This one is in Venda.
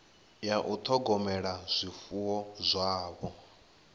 ya u ṱhogomela zwifuwo zwavho